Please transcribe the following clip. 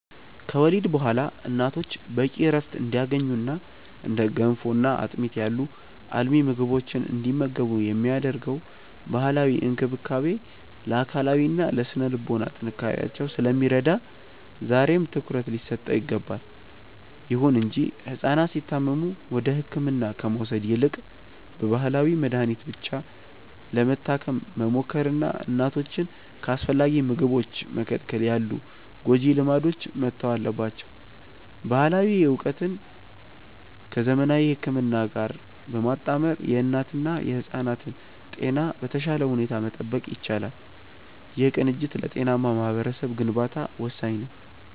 ከወሊድ በኋላ እናቶች በቂ ዕረፍት እንዲያገኙና እንደ ገንፎና አጥሚት ያሉ አልሚ ምግቦችን እንዲመገቡ የሚደረገው ባህላዊ እንክብካቤ ለአካላዊና ለሥነ-ልቦና ጥንካሬያቸው ስለሚረዳ ዛሬም ትኩረት ሊሰጠው ይገባል። ይሁን እንጂ ሕፃናት ሲታመሙ ወደ ሕክምና ከመውሰድ ይልቅ በባህላዊ መድኃኒት ብቻ ለመታከም መሞከርና እናቶችን ከአስፈላጊ ምግቦች መከልከል ያሉ ጎጂ ልማዶች መተው አለባቸው። ባህላዊ ዕውቀትን ከዘመናዊ ሕክምና ጋር በማጣመር የእናትና የሕፃናትን ጤና በተሻለ ሁኔታ መጠበቅ ይቻላል። ይህ ቅንጅት ለጤናማ ማኅበረሰብ ግንባታ ወሳኝ ነው።